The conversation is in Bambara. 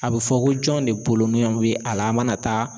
A bi fɔ ko jɔn de boloɲɔ bi a la a mana taa